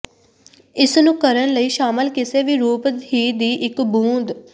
ਇਸ ਨੂੰ ਕਰਨ ਲਈ ਸ਼ਾਮਲ ਕਿਸੇ ਵੀ ਰੂਪ ਹੀ ਦੀ ਇੱਕ ਬੂੰਦ